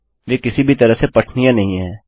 वे किसी भी तरह से पठनीय नहीं हैं